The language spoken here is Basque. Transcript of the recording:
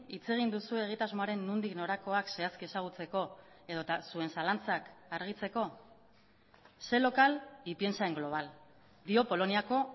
hitz egin duzue egitasmoaren nondik norakoak zehazki ezagutzeko edota zuen zalantzak argitzeko sé local y piensa en global dio poloniako